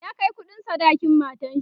ya Kai kuɗin sadakin matanshi